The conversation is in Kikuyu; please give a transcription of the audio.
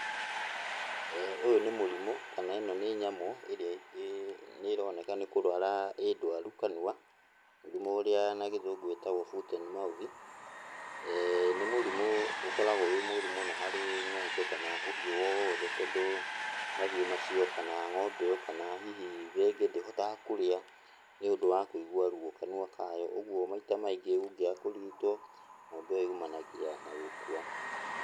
Ũyũ nĩ mũrimũ, kana ĩno nĩ nyamũ ĩrĩ nĩroneka nĩ kũrwara ĩ ndwaru kanua, mũrimũ ũrĩa na gĩthũngũ wĩtagwo foot and mouth. Nĩ mũrimũ ũkoragwo wĩ mũũru mũno harĩ ng'ombe kana ũhiũ wothe tondũ mahiũ macio kana ng'ombe ĩyo kana hihi rĩngĩ ndĩhotaga kũrĩa nĩũndũ wa kũigwa ruo kanua kayo, ũgwo maita maingĩ ũngĩaga kũrigitwo ng'ombe ĩyo yumanagia na gũkua.